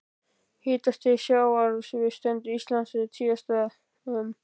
Hitastig sjávar við strendur Íslands er tíðast um